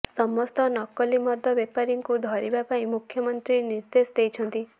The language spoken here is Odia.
ସମସ୍ତ ନକଲି ମଦ ବେପାରୀଙ୍କୁ ଧରିବା ପାଇଁ ମୁଖ୍ୟମନ୍ତ୍ରୀ ନିର୍ଦ୍ଦେଶ ଦେଇଛନ୍ତି